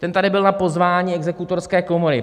Ten tady byl na pozvání Exekutorské komory.